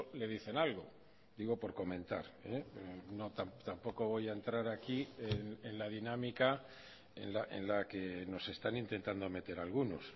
le dicen algo digo por comentar tampoco voy a entrar aquí en la dinámica en la que nos están intentando meter algunos